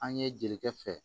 An ye jelikɛ fɛ